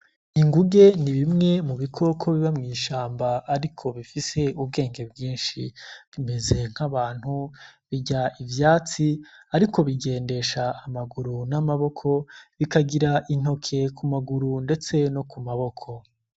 Inguge n'ibimwe mu bikoko biba mw'ishamba ariko bifise ubwenge bwinshi, bimeze nk'abantu birya ivyatsi ariko bigendesha amaguru n'amaboko bikagira intoke kumaguru ndetse no kumaboko.